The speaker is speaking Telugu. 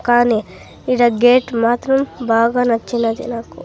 కానీ ఈడ గేట్ మాత్రం బాగా నచ్చినది నాకు.